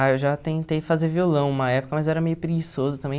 Ah, eu já tentei fazer violão uma época, mas era meio preguiçoso também.